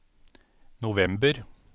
november